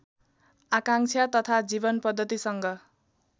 आकाङ्क्षा तथा जीवनपद्धतिसँग